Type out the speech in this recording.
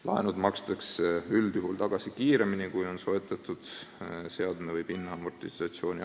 Laenud makstakse üldjuhul tagasi kiiremini, kui on soetatud seadme või pinna amortisatsiooniaeg.